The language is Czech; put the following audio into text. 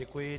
Děkuji.